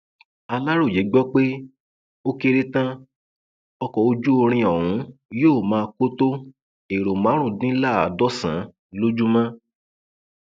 aláròye gbọ pé ó kéré tán ọkọ ojúirín ọhún yóò máa kó tó ẹrọ márùndínláàádọsàn lójúmọ